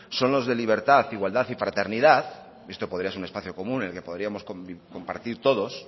son los de libertad igualdad y fraternidad esto podría ser un espacio común en el que podríamos compartir todos